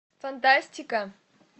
фантастика